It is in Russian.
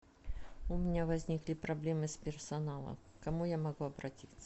у меня возникли проблемы с персоналом к кому я могу обратиться